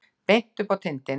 Beint upp á tindinn.